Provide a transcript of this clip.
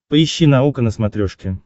поищи наука на смотрешке